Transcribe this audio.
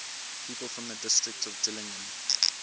people from the district of dillingen